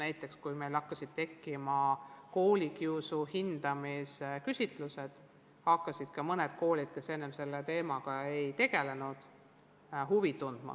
Näiteks, kui meil hakati korraldama koolikiusu hindamise küsitlusi, hakkasid mõned koolid, kes enne selle teemaga ei olnud tegelenud, samuti asja vastu huvi tundma.